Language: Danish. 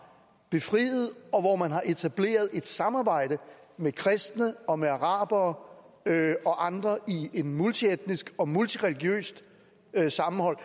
befriet og hvor man har etableret et samarbejde med kristne og med arabere og andre i et multietnisk og multireligiøst sammenhold